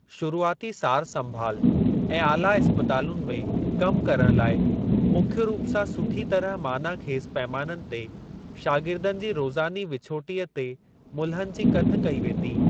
शुरूआती सार संभाल ऐं ऑला इस्पतालुनि में कम करण लाइ मुख्य रूप सां सुठी तरह मानाख़ेज़ पैमाननि ते शागिर्दनि जी रोज़ानी विछोटीअ ते मुल्हनि जी कथ कई वेंदी ।